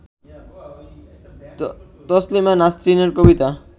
তসলিমা নাসরিনের কবিতা